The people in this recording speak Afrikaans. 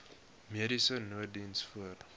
mediese nooddiens voor